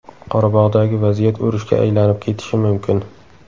Qorabog‘dagi vaziyat urushga aylanib ketishi mumkin.